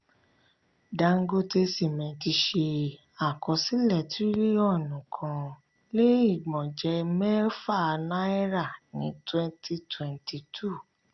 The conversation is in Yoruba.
dangote cement ṣe àkọsílẹ̀ tiriliọnu kan lè igbọnjẹ mẹfa na'ira ní 2022.